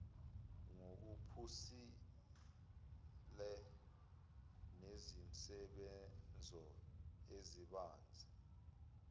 ngokuphusile nezinsebenzo ezibanzi